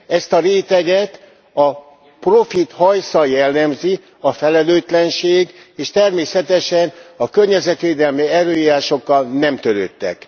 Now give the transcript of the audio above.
Ezt a réteget a profit utáni hajsza jellemzi, a felelőtlenség, és természetesen a környezetvédelmi előírásokkal nem törődtek.